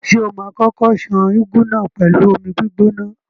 Ṣé o ma kókó ṣan úgú náà pẹ̀lú omi gbígbóná?